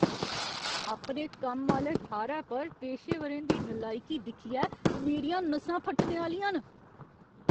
अपने कम्म आह्‌ले थाह्‌रै पर पेशेवरें दी नलायकी दिक्खियै मेरियां नसां फटने आह्लियां न।